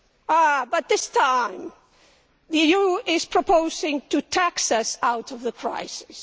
Ah, but this time the EU is proposing to tax us out of the crisis.